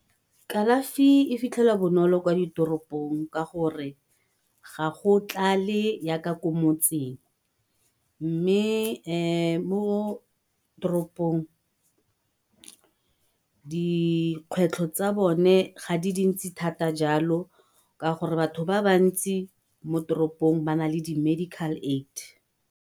Kalafi e fitlhelwa bonolo kwa ditoropong ka gore ga go tlale ko motseng, mme mo toropong dikgwetlho tsa bone ga di dintsi jalo ka gore batho ba ba ntsi mo toropong ba na le di medical aid.